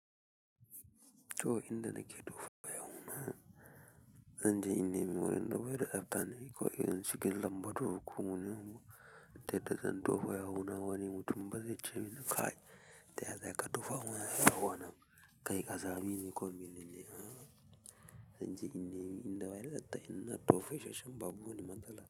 To, inda nake tofa ya wuna. Zan je in nemi wurin da baida zafta ne, ko irin cikin lambatu. Ta inda zan tofa ya wuna wani mutum bazai ce min kai. Ta yaya za ka tofa mana yawu anan? Kai ƙazami ne ko mene ne? Zan je in nemi inda in zan tofar da shi babu wani matsala.